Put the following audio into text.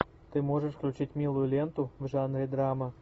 ты можешь включить милую ленту в жанре драма